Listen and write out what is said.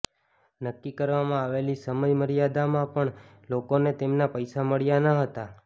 નક્કી કરવામાં આવેલી સમય મર્યાદામાં પણ લોકોને તેમના પૈસા મળ્યા ન હતા